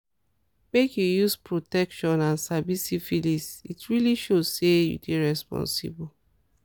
make you use protection and sabi syphilis it really show say you dey responsible